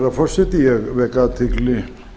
herra forseti ég vek athygli